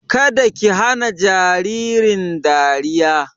Kada ki hana jaririn dariya!